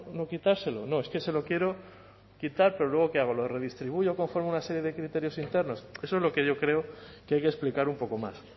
no quitárselo no es que se lo quiero quitar pero luego qué hago lo redistribuyo conforme a una serie de criterios internos eso es lo que yo creo que hay que explicar un poco más